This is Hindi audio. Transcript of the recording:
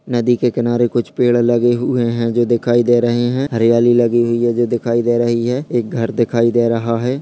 नदी के किनारे कुछ पेड़ लगे हुई हैं जो दिखाई दे रहे हैं। हरियाली लगी हुई है जो दिखाई दे रही है एक घर दिखाई दे रहा है।